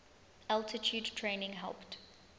altitude training helped